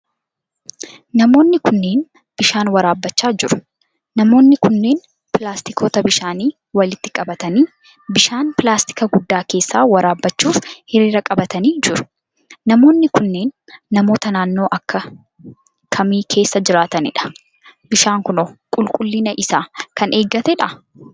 Namoonni kunneen, bishaan waraabbachaa jiru. Namoonni kunneen, pilaastikoota bishaanii walitti qabatanii bishaan pilaastika guddaa keessaa waraabbachuuf hiriira qabatanii jiru. Namoonni kunneen, namoota naannoo akka kamii keessa jiraatanii dha? Bishaan kun, qulqullina isaa kan eeggateedhaa?